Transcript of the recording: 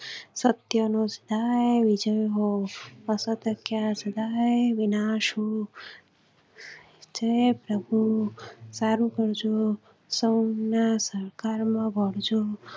સત્ય નું સદાય વિજય હો અસત્ય નો સદાય વિનાશ હો જય પ્રભુ સારું કરજો સૌના